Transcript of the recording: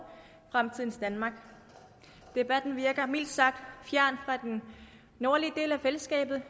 fremtidens danmark debatten virker mildt sagt fjernt fra den nordlige del af fællesskabet